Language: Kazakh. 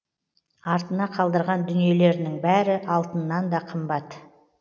артына қалдырған дүниелерінің бәрі алтыннан да қымбат